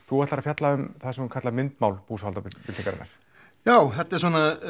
þú ætlar að fjalla um það sem kalla má myndmál búsáhaldabyltingarinnar já þetta eru